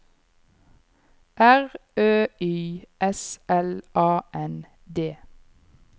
R Ø Y S L A N D